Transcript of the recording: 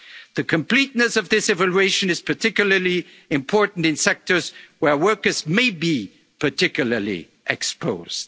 measures. The completeness of this evaluation is particularly important in sectors where workers may be particularly